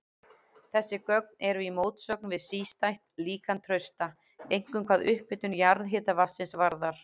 Þessi gögn eru í mótsögn við sístætt líkan Trausta, einkum hvað upphitun jarðhitavatnsins varðar.